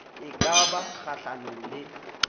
e ka ba kgahlanong le